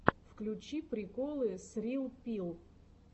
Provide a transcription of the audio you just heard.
включи приколы срилл пилл